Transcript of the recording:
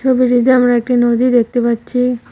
ছবিটিতে আমরা একটি নদী দেখতে পাচ্ছি।